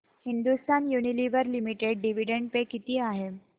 Hindustan Unilever limited dividend pay किती आहे